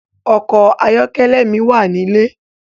Òkò àyòkèlè mi wá nilé